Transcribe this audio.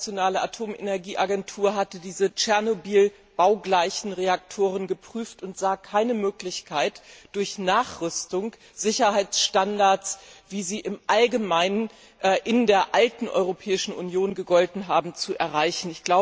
Die Internationale Atomenergieorganisation hatte diese Tschernobyl baugleichen Reaktoren geprüft und sah keine Möglichkeit, durch Nachrüstung Sicherheitsstandards, wie sie im Allgemeinen in der alten Europäischen Union gegolten haben, zu erreichen.